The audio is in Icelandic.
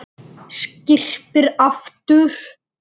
Skyrpir aftur.